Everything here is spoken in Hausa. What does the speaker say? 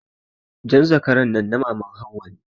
Jan zakaran nan ta maman Hauwa ce.